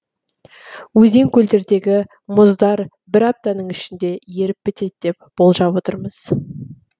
өзен көлдердегі мұздар бір аптаның ішінде еріп бітеді деп болжап отырмыз